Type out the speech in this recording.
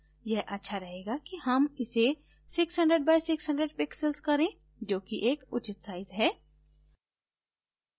यह अच्छा रहेगा कि हम इसे 600 by 600 pixels करें जो कि एक उचित size है